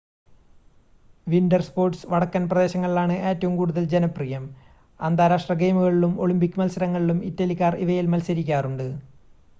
winter sports വടക്കൻ പ്രദേശങ്ങളിലാണ് ഏറ്റവും കൂടുതൽ ജനപ്രിയം അന്താരാഷ്ട്ര ഗെയിമുകളിലും ഒളിമ്പിക് മത്സരങ്ങളിലും ഇറ്റലിക്കാർ ഇവയിൽ മത്സരിക്കാറുണ്ട്